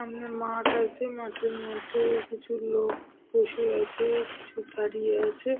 একটা বাইক আছে আর রাস্তা দিয়ে যাচ্ছে বিল্ডিং -এর দিকে।